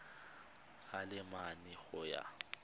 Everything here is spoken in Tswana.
a le mane go ya